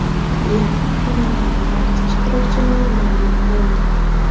Yarim finalning barcha ishtirokchilari ma’lum bo‘ldi.